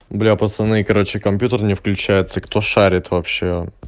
блядь пацаны короче компьютер не включается кто шарит вообще